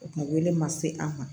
O kun wele ma se an ma